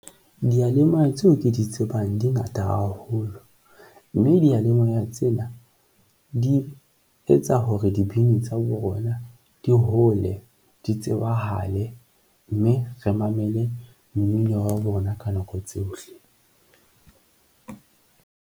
Diyalemoya tseo ke di tsebang di ngata haholo, mme diyalemoya tsena di etsa hore dibini tsa bona di hole, di tsebahale, mme re mamele mmino wa bona ka nako tsohle.